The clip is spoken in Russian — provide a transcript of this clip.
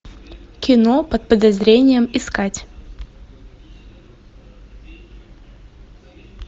кино под подозрением искать